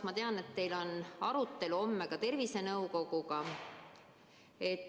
Ma tean, et teil on homme arutelu ka teadusnõukojaga.